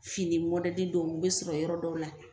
Fini mɔdɛli dɔw bɛ sɔrɔ yɔrɔ dɔ la.